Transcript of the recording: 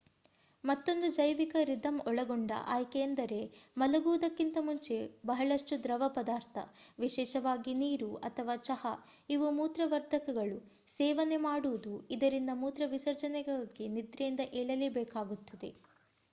ಮತ್ತೊಂದು ಜೈವಿಕ ರಿಧಂ ಒಳಗೊಂಡ ಆಯ್ಕೆ ಎಂದರೆ ಮಲಗುವುದುಕ್ಕಿಂತ ಮುಂಚೆ ಬಹಳಷ್ಟು ದ್ರವ ಪದಾರ್ಥ ವಿಶೇಷವಾಗಿ ನೀರು, ಅಥವಾ ಚಹಾ-ಇವು ಮೂತ್ರವರ್ಧಕಗಳು ಸೇವನೆ ಮಾಡುವುದು ಇದರಿಂದ ಮೂತ್ರ ವಿಸರ್ಜನೆಗಾಗಿ ನಿದ್ರೆಯಿಂದ ಏಳಲೇಬೇಕಾಗುತ್ತದೆ